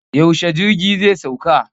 Yaushe jirgi zai sauka?